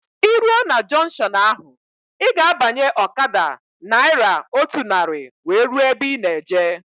Ị rue na junkshọnu ahụ, ị ga-abanye ọkada naira otu narị wee rue ebe ị na-eje